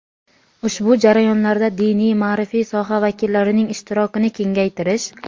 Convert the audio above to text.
ushbu jarayonlarda diniy-ma’rifiy soha vakillarining ishtirokini kengaytirish;.